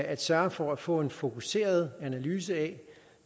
at sørge for at få en fokuseret analyse